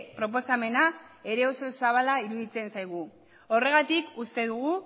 proposamena ere oso zabala iruditzen zaigu horregatik uste dugu